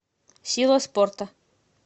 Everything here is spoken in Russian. сила спорта